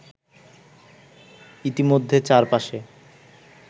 ইতিমধ্যে চার পাশে